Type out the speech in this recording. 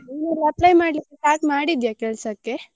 ನೀನ್ apply ಮಾಡ್ಲಿಕ್ಕೆ start ಮಾಡಿದ್ಯಾ ಕೆಲ್ಸಕ್ಕೆ?